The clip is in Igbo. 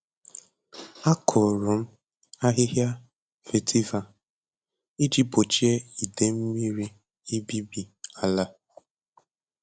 Akụrụ m ahịhịa vetiver iji gbochie idei mmiri ibibi ala.